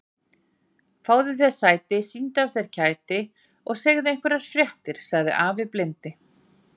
Fáðu þér sæti, sýndu af þér kæti og segðu einhverjar fréttir sagði afi blindi.